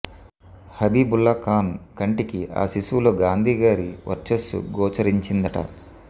హబీబుల్లా ఖాన్ కంటికి ఆ శిశువులో గాంధీగారి వర్చస్సు గోచరిం చిందిట